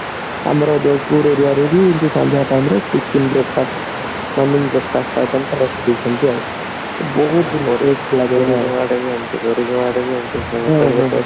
ଆମର ଜୟପୁର aria ରେ ବି ଏମତି ସନ୍ଧ୍ଯା time ରେ tiffin breakfast running breakfast item ପୁରା ରଖିଦେଇ ଛନ୍ତି ଆଉ ବହୁତ